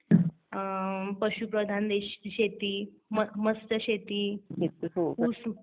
पशुप्रधान देश शेती, मस्त शेती